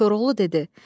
Koroğlu dedi: